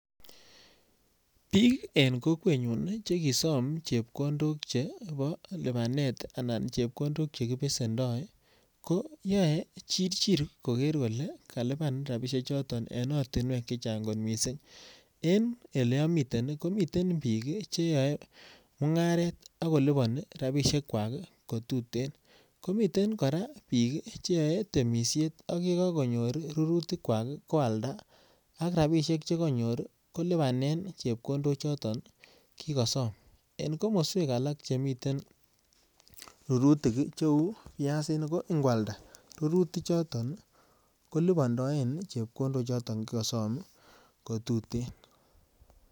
Biik en kokwenyun chekisom chepkondok chebo lubanet anan chepkondok chekibesendoi, koyoe chirchir koger kole kaluban rapisie choton en ortinwek che chang kot mising. En eleamiten komiten biik che yoe mungaret ak kolubani rapisiekwak kotuten. Komiten kora biik cheyoe temisiet ak ye kakonyor rurutikwak ko alda ak rapisiek che kanyor kolubanen chepkondochoto kigasom. En komoswek alak chemiten rurutik cheu piasinik ko ingwalda rurutichoton kolubandoen chepkondo choton kigasom kotuten.